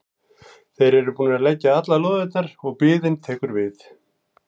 Þeir eru búnir að leggja allar lóðirnar og biðin tekur við.